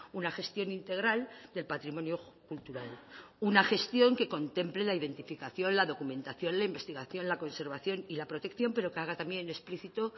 una gestión integral del patrimonio cultural una gestión que contemple la identificación la documentación la investigación la conservación y la protección pero que haga también explícito